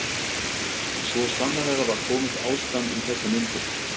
Og svo sannarlega var komið ástand um þessar mundir.